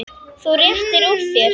Þú réttir úr þér.